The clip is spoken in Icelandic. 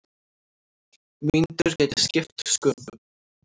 Mínútur geti skipt sköpum.